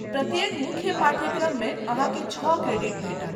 प्रत्येक मुख्य पाठ्यक्रममे अहाँके छौ क्रेडिट भेटत।